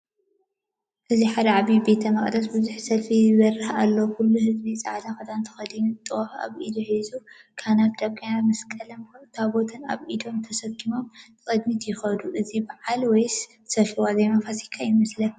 እዚ ሓደ ዓቢይ ቤተ መቕደስ ብቡዙሕ ሰልፊ ይበርህ ኣሎ። ኩሉ ህዝቢ ጻዕዳ ክዳን ተኸዲኑ ጧፍ ኣብ ኢዱ ሒዙ ይርከብ። ካህናትን ዲያቆናትን መስቀልን ታቦትን ኣብ ኢዶም ተሰኪሞም ንቕድሚት ይኸዱ። እዚ በዓለ ወይስ ሰልፊ ዋዜማ ፋሲካ ይመስለካ?